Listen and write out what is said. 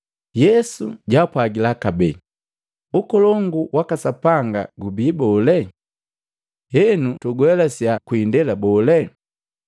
Yesu jaapwagila kabee, “Ukolongu waka Sapanga gubii bole? Henu tuguelasiya kwi indela bole?